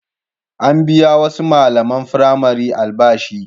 An biya wasu malaman firamare albashi.